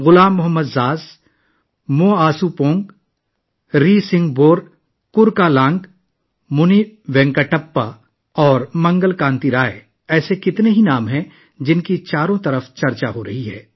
غلام محمد زاز، ماؤ سوپونگ، ریسنگھبور کورکالانگ، مونی وینکٹپا اور منگل کانتی رائے ان چند ناموں میں شامل ہیں جن کا ہر طرف چرچا ہے